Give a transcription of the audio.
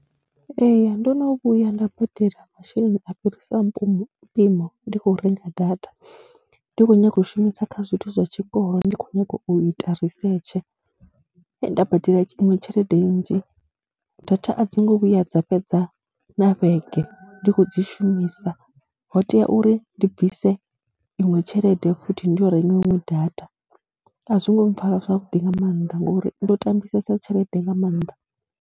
Ee, ndo no vhuya nda badela masheleni a fhirisaho mupimo mpimo ndi khou renga data, ndi khou nyaga u shumisa kha zwithu zwa tshikolo. Ndi khou nyanga u ita risetshe, nda badela iṅwe tshelede nnzhi, data a dzi ngo vhuya dza fhedza na vhege ndi khou dzi shumisa. Ho tea uri ndi bvise iṅwe tshelede futhi ndi yo renga iṅwe data, a zwi ngo mpfara zwavhuḓi nga maanḓa ngori ndo tambisesa tshelede nga maanḓa.